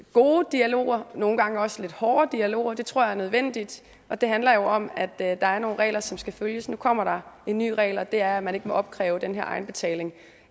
gode dialoger nogle gange også lidt hårde dialoger det tror jeg er nødvendigt og det handler jo om at der er nogle regler som skal følges nu kommer der en ny regel og det er at man ikke må opkræve den her egenbetaling